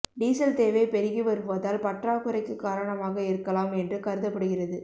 diesel தேவை பெருகி வருவதால் பற்றாக்குறைக்கு காரணமாக இருக்கலாம் என்று கருதப்படுகிறது